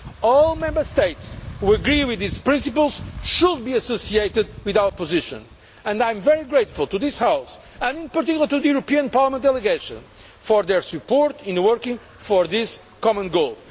All Member States who agree with these principles should be associated with our position and I am very grateful to this House, and in particular to the European Parliament delegation, for its support in working for this common goal.